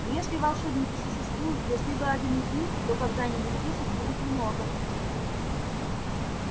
но если волшебники существуют если вы один из них то когда-нибудь здесь их будет много